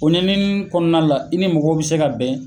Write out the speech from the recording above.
O ɲaniini kɔnɔna la , i ni mɔgɔ bɛ se ka bɛn.